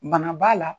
Bana b'a la